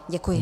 Děkuji.